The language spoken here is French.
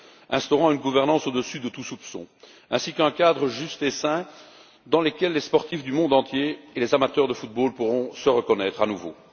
Il y a lieu d'instaurer une gouvernance au dessus de tout soupçon, ainsi qu'un cadre juste et sain dans lequel les sportifs du monde entier et les amateurs de football pourront se reconnaître à nouveau.